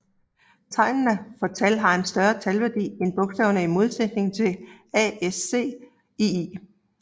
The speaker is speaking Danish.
Tegnene for tal har en større talværdi end bogstaver i modsætning til ASCII